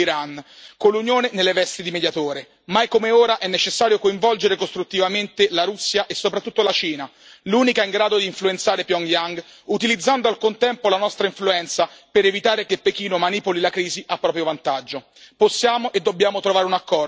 Mai come ora è necessario coinvolgere costruttivamente la Russia e soprattutto la Cina, l'unica in grado di influenzare Pyongyang, utilizzando al contempo la nostra influenza per evitare che Pechino manipoli la crisi a proprio vantaggio. Possiamo e dobbiamo trovare un accordo prima che siano gli eventi a decidere per noi.